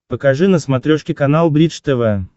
покажи на смотрешке канал бридж тв